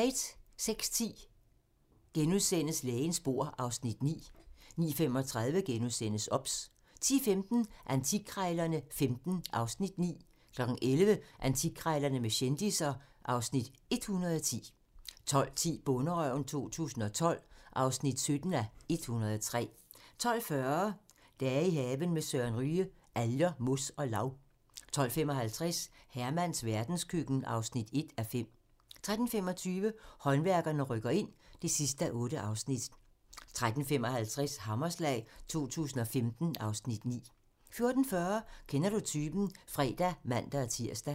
06:10: Lægens bord (Afs. 9)* 09:35: OBS * 10:15: Antikkrejlerne XV (Afs. 9) 11:00: Antikkrejlerne med kendisser (Afs. 110) 12:10: Bonderøven 2012 (17:103) 12:40: I haven med Søren Ryge: Alger, mos og lav 12:55: Hermans verdenskøkken (1:5) 13:25: Håndværkerne rykker ind (8:8) 13:55: Hammerslag 2015 (Afs. 9) 14:40: Kender du typen? (fre og man-tir)